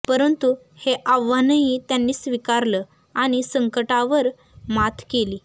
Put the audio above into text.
परंतु हे आव्हानही त्यांनी स्वीकारलं आणि संकटावर मात केली